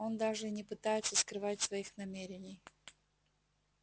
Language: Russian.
он даже и не пытается скрывать своих намерений